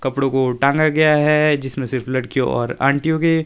कपड़ो को टांगा गया है जिसमें सिर्फ लड़कियो और आंटियो के--